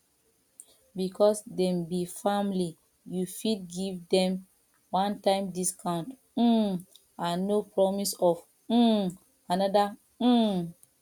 because dem be family you fit give dem onetime doscount um and no promise of um anoda um